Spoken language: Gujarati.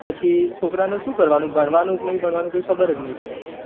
પછી છોકરા નું શું કરવાનું ભણવાનું કે નહી ભણવાનું કાય ખબર જ નહી પડે